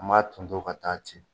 An m'a ton ton ka taa ten.